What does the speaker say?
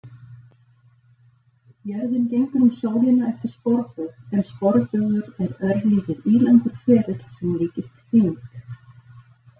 Jörðin gengur um sólina eftir sporbaug en sporbaugur er örlítið ílangur ferill sem líkist hring.